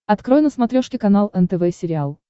открой на смотрешке канал нтв сериал